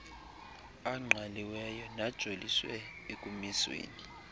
angqalileyo najoliswe ekumisweni